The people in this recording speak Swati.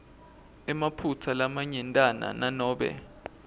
emaphutsa lamanyentana nanobe